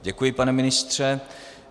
Děkuji, pane ministře.